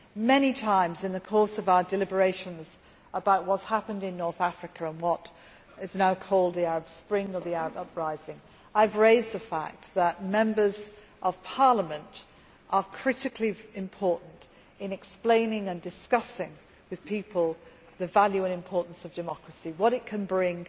Many times in the course of our deliberations about what has happened in North Africa, in what is now called the Arab Spring or the Arab uprising, I have raised the fact that Members of Parliament are critically important in explaining and discussing with people the value and importance of democracy, what it can bring